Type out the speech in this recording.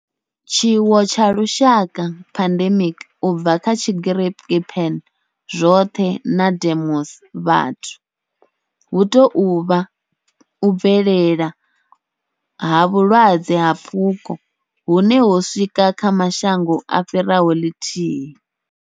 Tshiwo tsha lushaka, pandemic, u bva kha Tshigiriki pan, zwothe na demos, vhathu, hu tou vha u bvelela ha vhulwadze ha pfuko hune ho swika kha mashango a fhiraho lithihi.